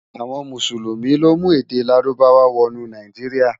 Awòn Músúlúmi lo mú èdè Lárúbáwá wò nú Náijiriá